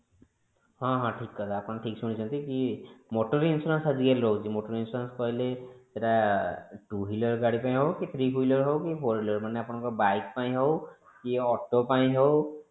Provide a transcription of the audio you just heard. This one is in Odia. ହଁ ହଁ ଠିକ କଥା ଆପଣ ଠିକ ଶୁଣିଛନ୍ତି କି motor insurance ଆଜି କାଲି ରହୁଛି motor କହିଲେ ସେଟା two wheeler ଗାଡି ପାଇଁ ହୋଉ କି three wheeler ହୋଉ କି four wheeler ମାନେ ଆପଣଙ୍କ bike ପାଇଁ ହୋଉ କି auto ପାଇଁ ହୋଉ